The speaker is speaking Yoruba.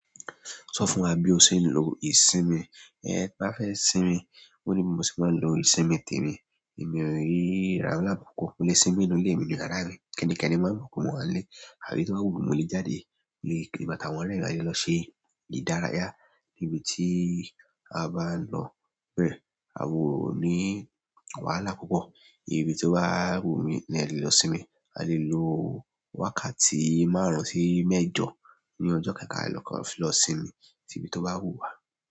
Sọ fún wa bí o ṣe ń lo ìsinmi, ẹ bá fẹ́ sinmi. Ó ní bí mo ṣe máa ń lo ìsinmi tèmi, èmi ò se wahalá lápupọ̀. Mo lè sinmi nínú ilé mi ní yàrá mi. Kẹ́ni-kẹ́ni máa mọ̀ pé mo wà ní ilé. Àbí tó bá wù mí mo lè jáde, mo lè kiri àti àwọn oremi a le lọ ṣe ìdárayá níbi tí a bá ń lọ bẹ́ẹ̀. A wa o ní wàhálà púpọ̀. Ibi tí ó bá wù mí ni a lè lọ sinmi. A lè lo wákàtí márùn-ún sí mẹ́jọ ní ọjọ́ kan ka kàn fi lọ sinmi si ibi tó bá wù wá.